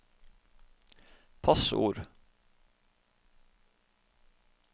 passord